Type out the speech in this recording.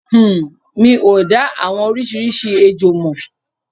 Uhm. Mi ò dá àwọn oríṣiríṣi ejò mọ̀.